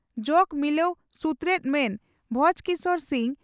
ᱡᱚᱜᱚ ᱢᱤᱞᱟᱹᱣ ᱥᱩᱛᱨᱮᱛ ᱢᱟᱱ ᱵᱷᱚᱸᱡᱚᱠᱤᱥᱚᱨ ᱥᱤᱝ